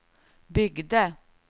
byggde